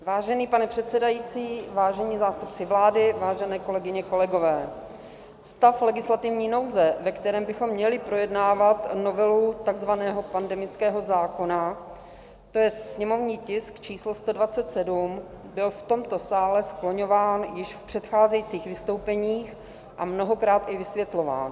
Vážený pane předsedající, vážení zástupci vlády, vážené kolegyně, kolegové, stav legislativní nouze, ve kterém bychom měli projednávat novelu takzvaného pandemického zákona, to je sněmovní tisk číslo 127, byl v tomto sále skloňován již v předcházejících vystoupeních a mnohokrát i vysvětlován.